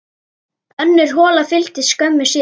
Önnur hola fylgdi skömmu síðar.